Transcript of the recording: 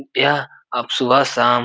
क्या आप सुबह शाम --